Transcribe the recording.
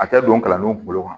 A tɛ don kalandenw kunkolo kɔnɔ